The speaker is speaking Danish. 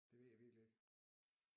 Det ved jeg virkelig ikke